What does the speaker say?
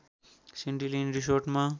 Sandy Lane रिसोर्टमा